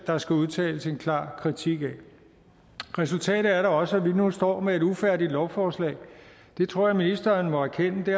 der skal udtales en klar kritik af resultatet er da også at vi nu står med et ufærdigt lovforslag og det tror jeg ministeren må erkende det